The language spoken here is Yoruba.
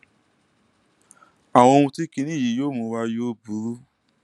àwọn ohun tí kinní yìí yóò mú wá yóò burú